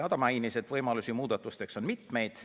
Ta mainis, et võimalusi muudatusteks on mitmeid.